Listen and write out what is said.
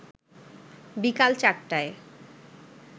বিকাল ৪টায়